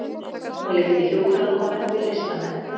Hún líkti hjúkrunarkonum við listamenn